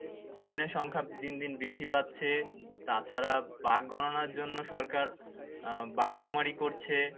হরিনের সংখ্যা দিন দিন বৃদ্ধি পাচ্ছে। তাছাড়া বাঘ গণনার জন্য সরকার আহ বাঘ সুমারি করছে।